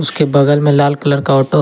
उसके बगल में लाल कलर का ऑटो है।